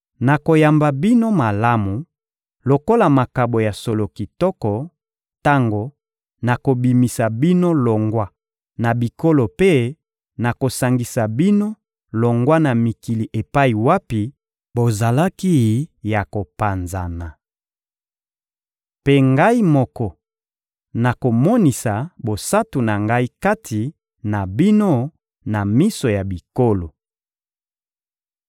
Nakoyamba bino malamu, lokola makabo ya solo kitoko, tango nakobimisa bino longwa na bikolo mpe nakosangisa bino longwa na mikili epai wapi bozalaki ya kopanzana. Mpe Ngai moko nakomonisa bosantu na Ngai kati na bino na miso ya bikolo.